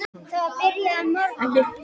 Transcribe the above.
Það var byrjað að morgna.